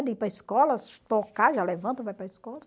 De ir para a escola, tocar, já levanta, vai para a escola.